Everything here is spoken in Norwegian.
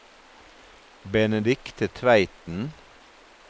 Benedicte Tveiten